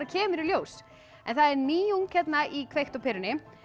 kemur í ljós það er nýjung hérna í kveikt á perunni